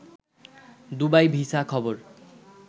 Dubai visa খবর